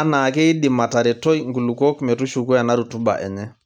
anaa keidim aateretoi nkulukuok metushuku ena rutuba enye.